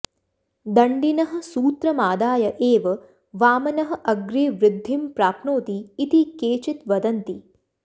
दण्डिनः सूत्रमादाय एव वामनः अग्रे वृद्धिं प्राप्नोति इति केचति् वदन्ति